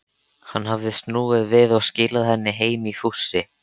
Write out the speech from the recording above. Hann hafði snúið við og skilað henni heim í fússi.